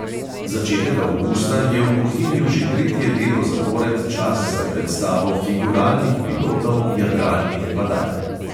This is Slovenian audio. Začetek avgusta je v bohinju že tretje leto zapored čas za predstavo figuralnih pilotov jadralnih padal.